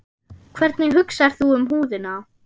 Hvernig hugsar þú um húðina?